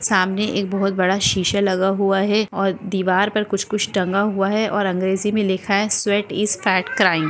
सामने एक बहुत बडा शिशा लगा हुवा हैं और दिवार पर कुछ कुछ टंगा हुआ है और अंग्रेजी मी लिखा है स्वेट इज फॅट क्राइंग ।